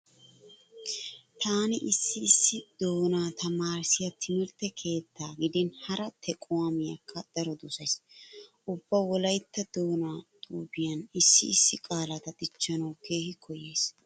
Taani issi issi doonaa tamaarissiya timirtte keetta gidin hara tequwaamiyakka daro dosays. Ubba wolaytta doonaa xuufiyanne issi issi qaalata dichchanawu keehi koyyays.